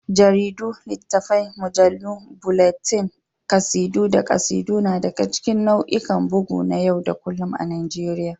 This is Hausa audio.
Jaridu, littafai, mujallu, bulletin, kasidu, da kasidu na daga cikin nau'ikan bugu na yau da kullun a Najeriya.